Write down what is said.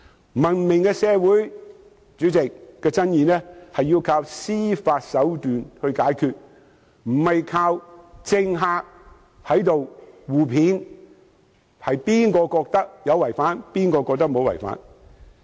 在文明的社會，爭議是要靠司法手段解決，而非靠政客互罵，有人認為有違法，有人認為無違法。